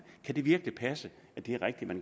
kan det virkelig passe at det er rigtigt at